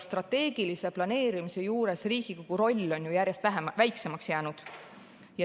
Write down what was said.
Strateegilise planeerimise juures on Riigikogu roll ju järjest väiksemaks jäänud.